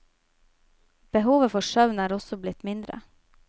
Behovet for søvn er også blitt mindre.